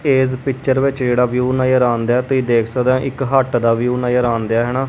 ਇਸ ਪਿੱਚਰ ਵਿੱਚ ਜਿਹੜਾ ਵਿਊ ਨਜ਼ਰ ਆਉਂਣ ਦਿਆ ਤੁਸੀਂ ਦੇਖ ਸਕਦੇ ਇੱਕ ਹੱਟ ਦਾ ਵਿਊ ਨਜ਼ਰ ਆਉਂਦੇ ਆ ਹਨਾ।